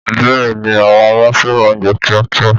Bẹ́ẹ̀ni, àwọn ọmọ fẹ́ràn oúnjẹ kíákíá